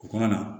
U kana na